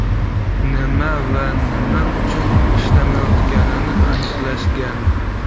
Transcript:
Nima va nima uchun ishlamayotganini aniqlashgan.